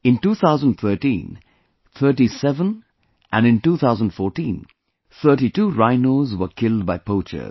In 2013, 37 and in 2014, 32 rhinos were killed by poachers